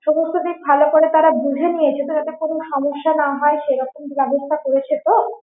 সমস্ত দিক ভালো করে তারা বুঝে নিয়েছে তো ব্যাপারটা কোনো সমস্যা না হয় সেরকম ব্যবস্থা করেছে তো?